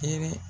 Hɛrɛ